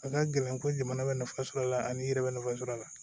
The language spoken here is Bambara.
A ka gɛlɛn ko jamana bɛ nafa sɔr'a la ani i yɛrɛ bɛ nafa sɔrɔ a la